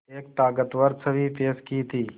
एक ताक़तवर छवि पेश की थी